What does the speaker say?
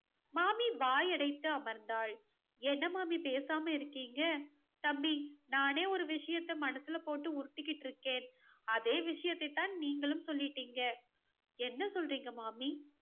மாமி வாயடைத்து அமர்ந்தாள். என்ன மாமி பேசாம இருக்கீங்க தம்பி, நானே ஒரு விஷயத்தை மனசுல போட்டு உருட்டிகிட்டு இருக்கேன். அதே விஷயத்தை தான் நீங்களும் சொல்லிட்டீங்க. என்ன சொல்றீங்க மாமி